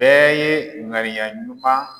Bɛɛ ye ŋaniya ɲuman